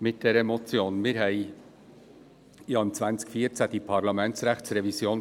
Im Jahr 2014 hatten wir ja diese Parlamentsrechtsrevision.